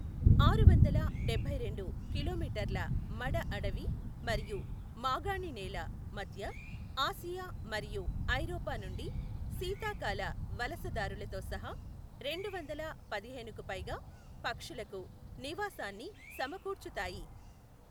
ఆరువందల డభైరెండు కిలోమీటర్ల మడ అడవి మరియు మాగాణినేల మధ్య ఆసియా మరియు ఐరోపా నుండి శీతాకాల వలసదారులతో సహా రెండువందల పదిహేనుకి పైగా పక్షులకు నివాసాన్ని సమకూర్చుతాయి.